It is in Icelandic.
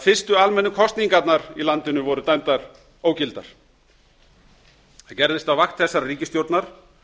fyrstu almennu kosningarnar í landinu voru dæmdar ógildar það gerðist á vakt þessarar ríkisstjórnar